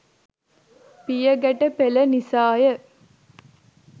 පියගැට පෙළ නිසා ය.